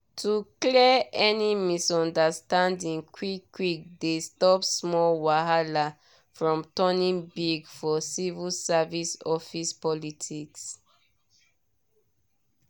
to clear any misunderstanding quick-quick dey stop small wahala from turning big for civil service office politics.